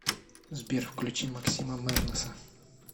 сбер включи маскима мернеса